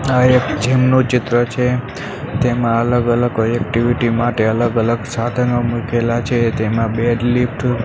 આ એક જીમ નું ચિત્ર છે તેમા અલગ-અલગ કોઈ એક્ટિવિટી માટે અલગ-અલગ સાધનો મુકેલા છે તેમા ડેડ લિફ્ટ --